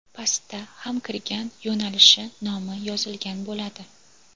Pastda ham kirgan yo‘nalishi nomi yozilgan bo‘ladi.